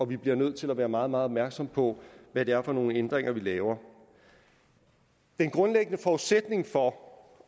vi bliver nødt til at være meget meget opmærksomme på hvad det er for nogle ændringer vi laver den grundlæggende forudsætning for